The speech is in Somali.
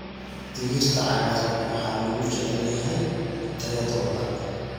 Digirta cagaaran waxaa lagu jecel yahay tayadooda.